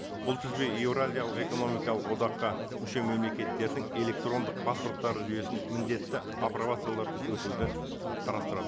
бұл тізбе еуразиялық экономикалық одаққа мүше мемлекеттердің электрондық паспорттары жүйесін міндетті апробациялардан өтуді қарастырады